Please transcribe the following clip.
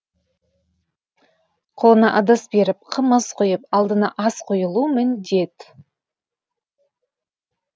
қолына ыдыс беріп қымыз құйып алдына ас қойылу міндет